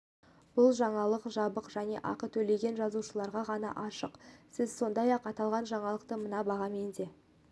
бұл жаңалық жабық және ақы төлеген жазылушыларға ғана ашық сіз сондай-ақ аталған жаңалықты мына бағамен де